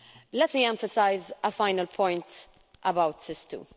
Let me emphasise a final point about SIS II.